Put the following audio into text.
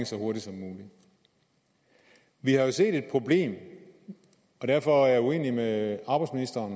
så hurtigt som muligt vi har jo set et problem og derfor er jeg uenig med arbejdsministeren